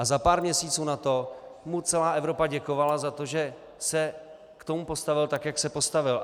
A za pár měsíců na to mu celá Evropa děkovala za to, že se k tomu postavil tak, jak se postavil.